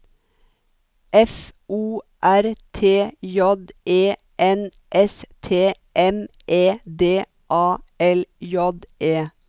F O R T J E N S T M E D A L J E